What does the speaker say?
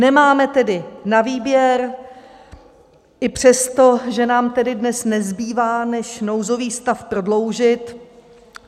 Nemáme tedy na výběr i přesto, že nám tedy dnes nezbývá, než nouzový stav prodloužit.